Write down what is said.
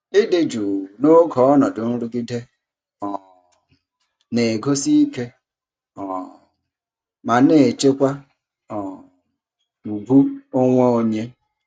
Ịdị jụụ n'oge ọnọdụ nrụgide um na-egosi ike um ma na-echekwa um ùgwù onwe onye.